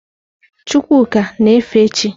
Chukwuka na-efe chị́.